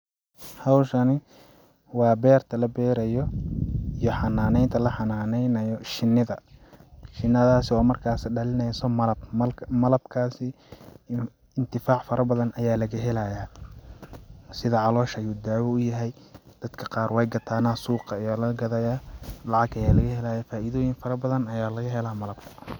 Hawshani waa beerta la beerayo iyo xanaaneynta la xanaaneynayo shinida shinidaas oo markaas dhaleyneyso malab, malabkaasi intifaac fara badan ayaa laga helayaa sida calosha ayuu daawa uyahay dadka qaar wey gataana, suuqa ayaa laga ghadayaa lacag ayaa laga helayaa faidooyin fara badan ayaa laga helaa malabka